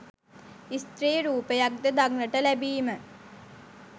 ස්ත්‍රී රූපයක්ද දක්නට ලැබීම